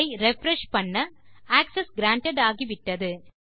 இதை ரிஃப்ரெஷ் செய்ய access grant ஆகிவிட்டது